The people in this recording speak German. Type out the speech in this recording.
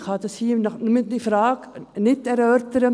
Ich kann diese Frage hier nicht erörtern.